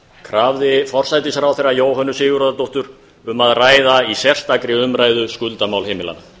krafði forsætisráðherra jóhönnu sigurðardóttur um að ræða í sérstakri umræðu skuldamál heimilanna